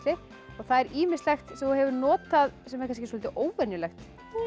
það er ýmislegt sem þú hefur notað sem er kannski soldið óvenjulegt